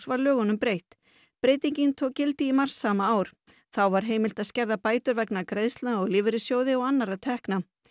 var lögunum breytt breytingin tók gildi í mars sama ár þá var heimilt að skerða bætur vegna greiðslna úr lífeyrissjóði og annarra tekna